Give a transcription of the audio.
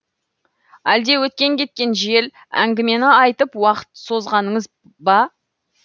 әлде өткен кеткен жел әңгімені айтып уақыт созғаныңыз ба